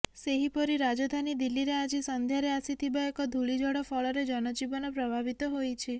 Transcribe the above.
ସେହିପରି ରାଜଧାନୀ ଦିଲ୍ଲୀରେ ଆଜି ସଂଧ୍ୟାରେ ଆସିଥିବା ଏକ ଧୂଳି ଝଡ଼ ଫଳରେ ଜନଜୀବନ ପ୍ରଭାବିତ ହୋଇଛି